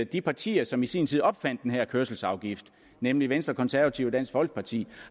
de partier som i sin tid opfandt den her kørselsafgift nemlig venstre konservative og dansk folkeparti